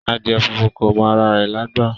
Adìẹ funfun kò mọ ara rẹ̀lágbà